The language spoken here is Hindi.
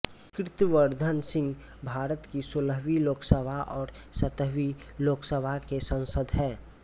कीर्तिवर्धन सिंह भारत की सोलहवीं लोकसभा और सत्रहवीं लोकसभा के सांसद हैं